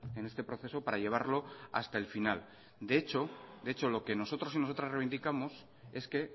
en este proceso para llevarlo hasta el final de hecho lo que nosotros y nosotras reivindicamos es que